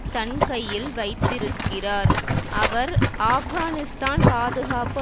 தன்கையில் வைத்திருக்கிறார் அவர் ஆப்கானிஸ்தான் பாதுகாப்பு